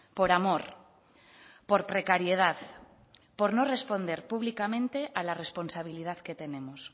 por amor por precariedad por no responder públicamente a la responsabilidad que tenemos